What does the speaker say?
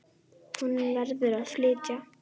Hún verður að flytja.